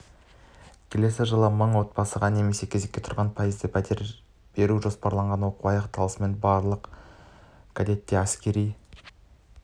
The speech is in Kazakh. келесі жылы мың отбасыға немесе кезекке тұрғандардың пайызына пәтер беру жоспарланған оқу аяқталысымен барлық кадеттер әскери